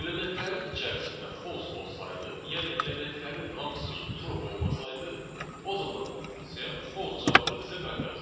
Elementlərin içərisində false olsaydı, yəni elementlərin hamısı true olmasaydı, o zaman bu funksiya false cavabını bizə qaytaracaqdı.